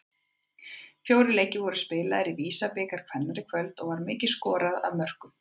Fjórir leikir voru spilaðir í VISA-bikar kvenna í kvöld og var mikið skorað af mörkum.